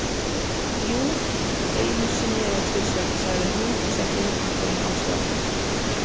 Jú, einu sinni eða tvisvar, sagði hún og setti heyrnartólin á sig aftur.